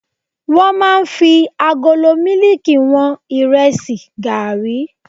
Wọ́n máa ń fi agolo mílíkì wọn Ìrẹsì, gààrí.